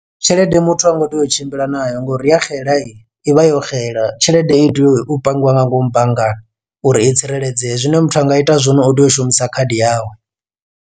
Tshelede muthu hango tea u tshimbila nayo ngori ya xela i i vha yo xela tshelede i tea u pangiwa nga ngomu banngani uri i tsireledzee zwine muthu anga ita zwone u tea u shumisa khadi yawe.